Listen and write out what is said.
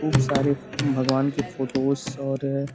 ऊब सारे भगवान के फोटोस् और --